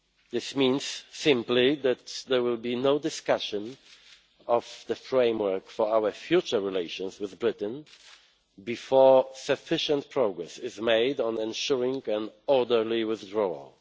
This means simply that there will be no discussion of the framework for our future relations with Britain before sufficient progress is made on ensuring an orderly withdrawal.